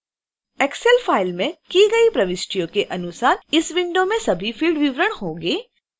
excel file में की गई प्रविष्टियों के अनुसार इस विंडो में सभी field विवरण होंगे